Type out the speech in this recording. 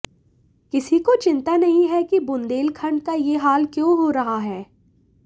किसी को चिंता नहीं है कि बुंदेलखंड का यह हाल क्यों हो रहा है